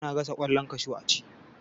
Ana gasa kwallon kashu a ci.